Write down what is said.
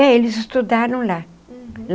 É, eles estudaram lá. Uhum.